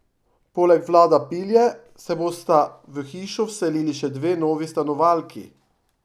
Poleg Vlada Pilje se bosta v hišo vselili še dve novi stanovalki!